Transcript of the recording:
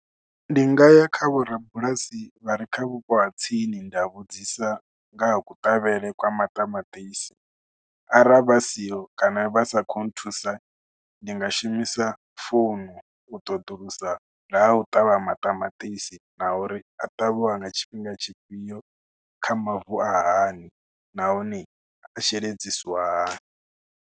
Ndi nga ya kha vhorabulasi vha re kha vhupo ha tsini nda vhudzisa nga ha kuṱavhele kwa maṱamaṱisi ara vha siho kana vha sa khou nthusa, ndi nga shumisa founu u ṱoḓulusa nga u ṱavha maṱamaṱisi na uri a ṱavhiwa nga tshifhinga tshifhio kha mavu a hani nahone sheledzisiwa hani.